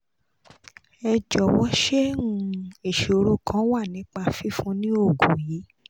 ẹ jọ̀wọ́ sé um ìṣòro kan wà nípa fífún ni oògùn yìí